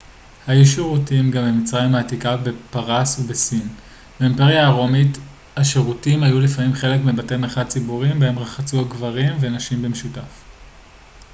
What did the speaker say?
היו שירותים גם במצרים העתיקה בפרס ובסין באימפריה הרומית השירותים היו לפעמים חלק מבתי מרחץ ציבוריים בהם רחצו גברים ונשים במשותף